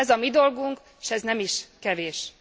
Ez a mi dolgunk, s ez nem is kevés.